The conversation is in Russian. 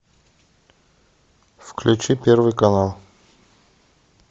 включи первый канал